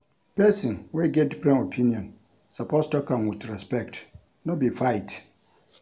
Pesin wey get different opinion suppose tok am wit respect, no be fight.